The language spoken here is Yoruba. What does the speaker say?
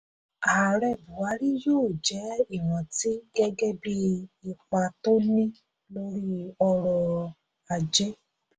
ààrẹ buhari yóò jẹ́ ìrántí gẹ́gẹ́ bí ipa tó ní lórí ọrọ̀-ajé.